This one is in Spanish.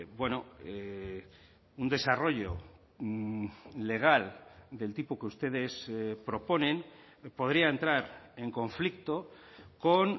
bueno un desarrollo legal del tipo que ustedes proponen podría entrar en conflicto con